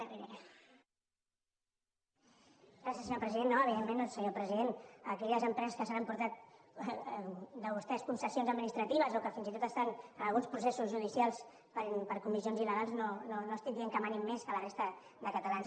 no evidentment senyor president aquelles empreses que s’han emportat de vostès concessions administratives o que fins i tot estan amb alguns processos judicials per comissions illegals no estic dient que manin més que la resta de catalans